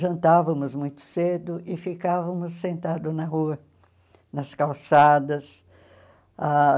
jantávamos muito cedo e ficávamos sentados na rua, nas calçadas ãh.